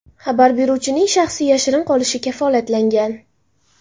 Xabar beruvchining shaxsi yashirin qolishi kafolatlangan.